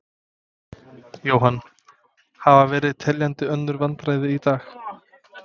Jóhann: Hafa verið teljandi önnur vandræði í dag?